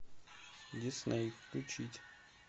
дисней включить